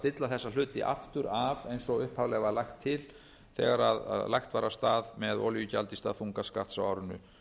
stilla þessa hluti aftur af eins og upphaflega var lagt til þegar lagt var af stað með olíugjald í stað þungaskatts á árinu